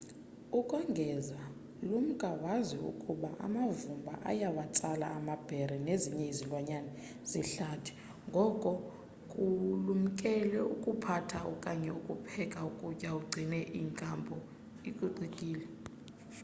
ukongeza lumka wazi ukuba amavumba ayawatsala amabhere nezinye izilwanyana zehlathi ngoko kulumkele ukuphatha okanye ukupheka ukutya ugcine i nkampu icocekile